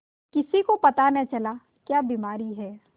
किसी को पता न चला क्या बीमारी है